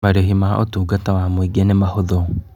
Marĩhi ma ũtungata wa mũingĩ nĩ mahũthũ.